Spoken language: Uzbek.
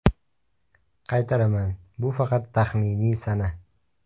Qaytaraman, bu faqat taxminiy sana.